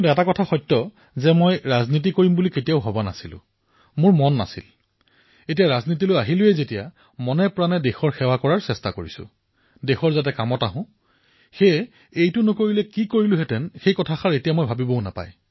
কিন্তু এয়া সত্য যে মই কেতিয়াও ৰাজনীতিলৈ আহিবলৈ মন কৰা নাছিলো কেতিয়াও চিন্তা কৰা নাছিলো কিন্তু এতিয়া আহি গলো যেতিয়া মনেপ্ৰাণে দেশৰ কাম কৰিব পাৰো তাৰে কথা চিন্তা কৰো আৰু সেইবাবে এতিয়া মই ইয়ালৈ নাহিলে কি হলহেঁতেনএই কথা চিন্তা কৰিব নালাগে